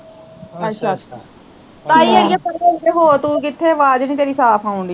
ਅੱਛਾ ਤਾਈ ਅੜੀਏ ਪਰੇ ਉਰੇ ਹੋ, ਕਿੱਥੇ, ਆਵਾਜ਼ ਨੀ ਤੇਰੀ ਸਾਫ ਆਉਣ ਡਈ